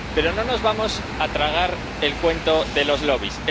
Pero no nos vamos a tragar el cuento de los lobbies